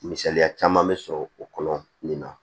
Misaliya caman be sɔrɔ o kɔnɔ nin na